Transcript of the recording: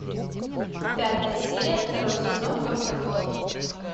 пятая серия второй сезон доктор кто